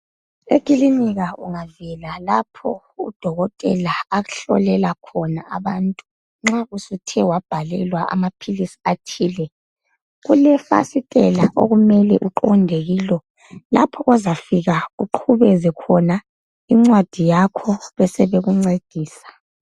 Ekhilinika ungavela lapho udokotela ahlolela knona abantu nxa usuthe wabhalelwa amapilisi athile kulefasitela okumele uqonde kilo lapho ozafika uqubeze khona incwadi yakho besebekuncedisa.